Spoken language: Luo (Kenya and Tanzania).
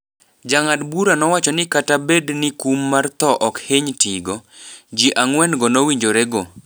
Jang'ad bura nowacho ni kata bed ni kum mar tho okihiny tigo, jii angwen go nowinjore go.